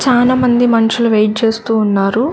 చానా మంది మనుషులు వెయిట్ చేస్తూ ఉన్నారు.